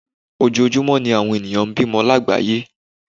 Ojoojúmọ́ ní àwọn ènìyàn ń bímọ lágbàáyé